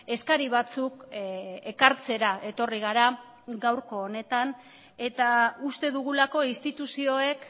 eskari batzuk ekartzera etorri gara gaurko honetan eta uste dugulako instituzioek